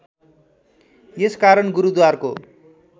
यस कारण गुरूद्वारको